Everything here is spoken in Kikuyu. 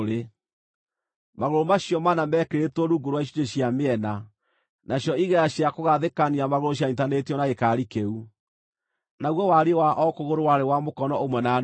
Magũrũ macio mana meekĩrĩtwo rungu rwa icunjĩ cia mĩena, nacio igera cia kũgathĩkania magũrũ cianyiitithanĩtio na gĩkaari kĩu. Naguo wariĩ wa o kũgũrũ warĩ wa mũkono ũmwe na nuthu.